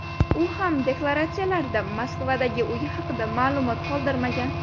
U ham deklaratsiyalarida Moskvadagi uyi haqida ma’lumot qoldirmagan.